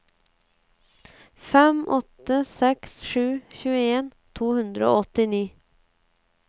fem åtte seks sju tjueen to hundre og åttini